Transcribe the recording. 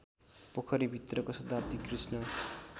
पोखरीभित्रको शताब्दी कृष्ण